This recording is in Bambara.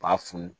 B'a funu